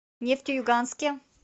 нефтеюганске